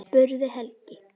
spurði Helgi.